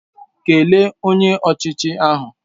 Kelee Onye Ọchịchị ahụ!